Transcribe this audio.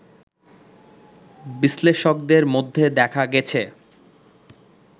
বিশ্লেষকদের মধ্যে দেখা গেছে